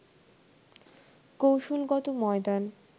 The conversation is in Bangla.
কৌশলগত ময়দান